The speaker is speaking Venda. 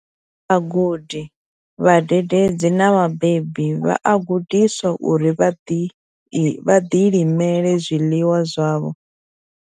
Vhagudi, vhadededzi na vhabebi vha a gudiswa uri vha ḓilimele zwiḽiwa zwavho.